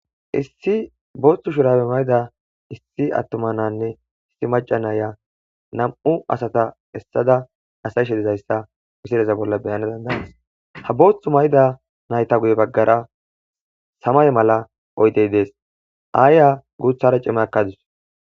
Issi booththu shurabe mayda issi attoma nanne issi maca naaya nam7u asata essada asayshe dizayssa misireza bolla beyana dandanas ha booththu mayda nayta guye baggara samay mala oydey dees aaya guuthara cime akadus.